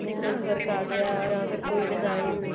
work ਆਗਿਆ ਯਾ ਫ਼ੇਰ ਕੋਈ design